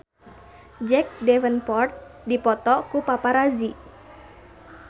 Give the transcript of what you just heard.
Jack Davenport dipoto ku paparazi